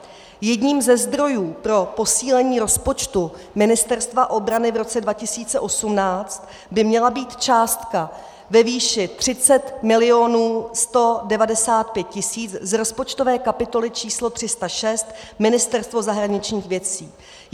Jedním ze zdrojů pro posílení rozpočtu Ministerstva obrany v roce 2018 by měla být částka ve výši 30 195 000 z rozpočtové kapitoly číslo 306 Ministerstvo zahraničních věcí.